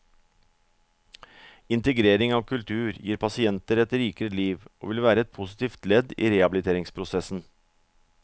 Integrering av kultur gir pasienter et rikere liv, og vil være et positivt ledd i rehabiliteringsprosessen.